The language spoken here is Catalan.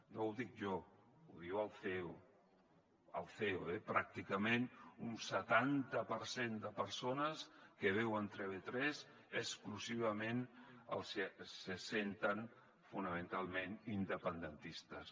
no ho dic jo ho diu el ceo el ceo eh pràcticament un setanta per cent de persones que veuen tv3 exclusivament se senten fonamentalment independentistes